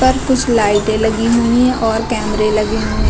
पर कुछ लाइटें लगी हुई हैं और कैमरे लगे हुए --